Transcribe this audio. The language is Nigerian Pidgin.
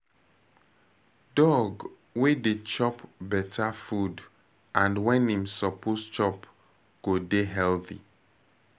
Dog wey dey chop better food and when im suppose chop go dey healthy